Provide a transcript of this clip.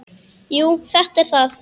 Jú, þetta er það.